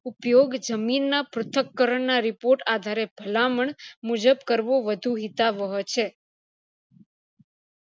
ઉપયોગ જમીન ના પ્રથકરણ ના report આધારે ભલામણ મુજબ કરવો વધુ હિતાવવો છે